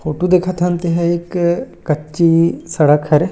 photo देखत हन ते ह एक कच्ची सड़क हरे--